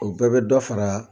O bɛɛ bɛ dɔ fara